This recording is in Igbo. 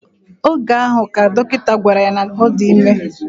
Oga ahu, ka dokita gwara ya na odime